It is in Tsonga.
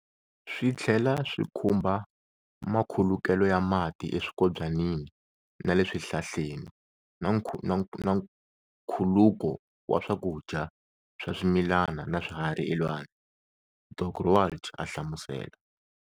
Swi tlhela swi khumbha makhulukelo ya mati eswikobyanini na le swihlahleni na nkhuluko wa swakudya swa swimilani na swiharhi elwandle, Dok Roualt a hlamusela.